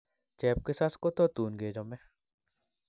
Chepkisas kototun kechome.